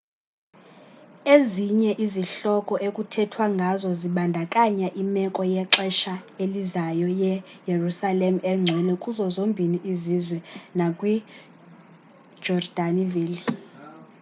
ezinye izihloko ekuthethwa ngazo zibandakanya imeko yexesha elizayo yeyerusalem engcwele kuzo zombini izizwe nakwi yejordani valley